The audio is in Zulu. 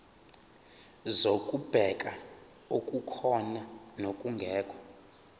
zokubheka okukhona nokungekho